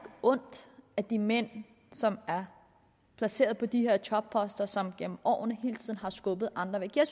ondt af de mænd som er placeret på de her topposter og som gennem årene hele tiden har skubbet andre væk jeg